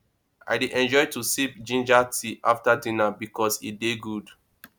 i dey enjoy to sip ginger tea after dinner bikos e dey good